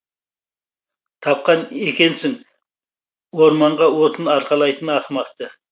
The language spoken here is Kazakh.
тапқан екенсің орманға отын арқалайтын ақымақты